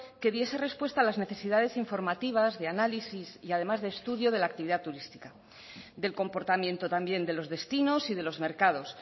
que diese respuesta a las necesidades informativas de análisis y además de estudio de la actividad turística del comportamiento también de los destinos y de los mercados